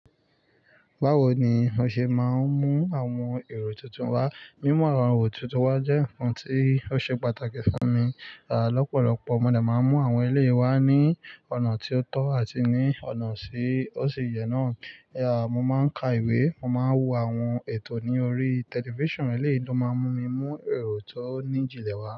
Báwo ni o ṣe máa ń mú àwọn èrò tuntun wá? Mímú àwọn èrò tuntun wá jẹ́ nǹkan tí ó ṣe pàtàkì fún mi. À lọ́pọ̀lọpọ̀, mo de máa ń mú àwọn eléyi wá ní ọ̀nà tí ó tọ́ àti ní ọ̀nà ti òṣìyẹ́ náà. À mo máa ń ka ìwé, mo máa ń wo àwọn ètò ní orí tẹlifíṣàn, èléyìí ló máa ń mú mi mú èrò tó ní jìnlẹ̀ wá.